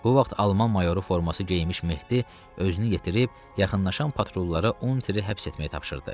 Bu vaxt alman mayoru forması geyinmiş Mehdi özünü yetirib yaxınlaşan patrullara Unteri həbs etməyi tapşırdı.